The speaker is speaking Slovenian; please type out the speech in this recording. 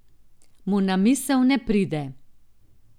Mu na misel ne pride.